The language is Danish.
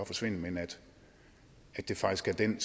forsvinde men at det faktisk er den